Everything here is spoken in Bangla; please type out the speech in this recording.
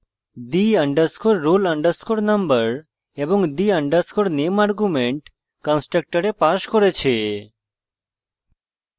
the _ roll _ number এবং the _ name arguments কন্সট্রকটরে passed করেছে